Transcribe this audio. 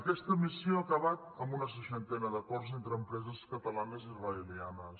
aquesta missió ha acabat amb una seixantena d’acords entre empreses catalanes i israelianes